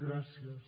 gràcies